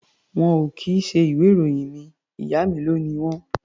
Wọn ò kì í ṣe ìwé-ìròyìn mi. Ìyá mi ló ni wọ́n.